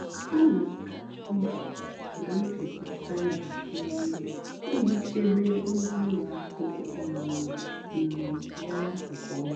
m nà-àdàbéré nà ngwá ùlọ àkụ́ nwèrè ụ́kpụ́rụ́ nchèkwà dì ézílé màkà àzụ́mahìá ị́ntánètị́ dì nchèbè.